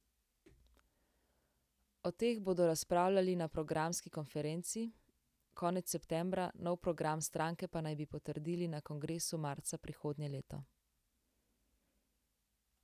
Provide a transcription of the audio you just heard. O teh bodo razpravljali na programski konferenci konec septembra, nov program stranke pa naj bi potrdili na kongresu marca prihodnje leto.